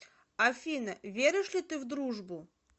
афина веришь ли ты в дружбу